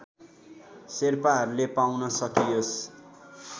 शेर्पाहरूले पाउन सकियोस्